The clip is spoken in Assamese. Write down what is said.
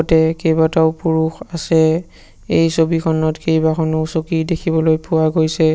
তে কেইবাটাও পুৰুষ আছে এই ছবিখনত কেইখনো চকী দেখিবলৈ পোৱা গৈছে।